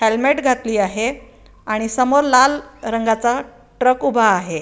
Helmet घातली आहे आणि समोर लाल रंगाचा ट्रक उभा आहे.